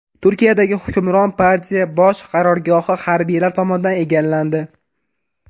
Turkiyadagi hukmron partiya bosh qarorgohi harbiylar tomonidan egallandi.